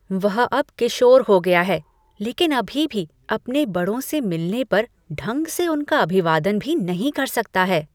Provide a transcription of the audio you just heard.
वह अब किशोर हो गया है, लेकिन अभी भी अपने बड़ों से मिलने पर ढंग से उनका अभिवादन भी नहीं कर सकता है।